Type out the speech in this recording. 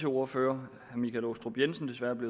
ordfører